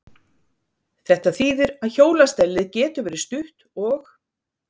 Þetta þýðir að hjólastellið getur verið stutt og